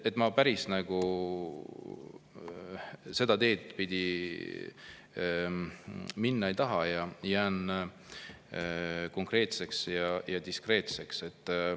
Ma päris seda teed pidi minna ei taha, ja jään diskreetseks.